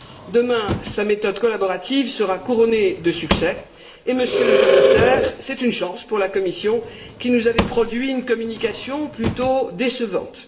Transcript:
Demain, sa méthode collaborative sera couronnée de succès et, Monsieur le Commissaire, c'est une chance pour la Commission qui nous avait produit une communication plutôt décevante.